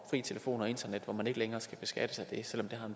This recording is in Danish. telefon og internet som man ikke længere skal beskattes af selv